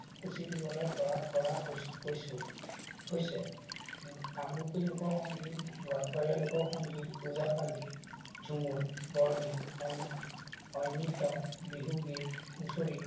সূচী দিবলৈ পৰা হৈছো। হৈছে। কামৰূপীয়া লোকসংগীত, গোৱালপৰীয়া লোকসংগীত, ওজাপালি, ঝুমুৰ, বৰগীত, অইন ঐনিতম, বিহুগীত, হুচৰি